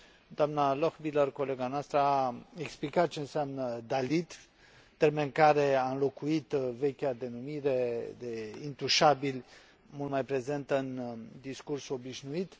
Doamna Lochbihler, colega noastră, a explicat ce înseamnă termen care a înlocuit vechea denumire de intușabili, mult mai prezentă în discursul obișnuit.